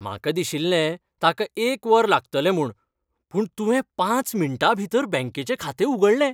म्हाका दिशील्लें ताका एक वर लागतलें म्हूण, पूण तुवें पांच मिनटांभितर बँकेचें खातें उगडलें.